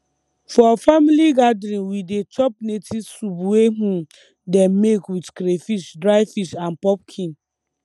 for family gathering we dey chop native soup wey um dem make with crayfish dry fish and pumpkin